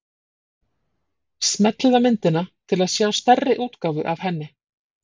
Smellið á myndina til að sjá stærri útgáfu af henni.